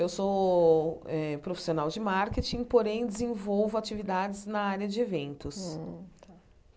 Eu sou eh profissional de marketing, porém, desenvolvo atividades na área de eventos. Hum